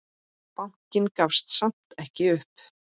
Bankinn gafst samt ekki upp.